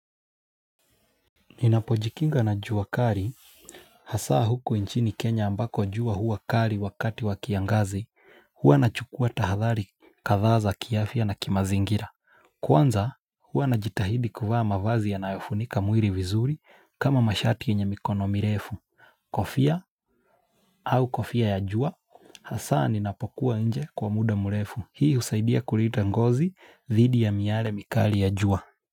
Ninapojikinga na jua kali hasaa huko nchini kenya ambako jua huwa kali wakati wa kiangazi. Huwa nachukua tahadhari kadhaa za kiafya na kimazingira. Kwanza huwa najitahidi kuvaa mavazi yanayofunika mwili vizuri kama mashati yenye mikono mirefu. Kofia au kofia ya jua hasaa ninapokuwa nje kwa muda mrefu. Hii husaidia kulinda ngozi dhidi ya miale mikali ya jua.